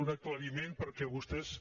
un aclariment perquè vostès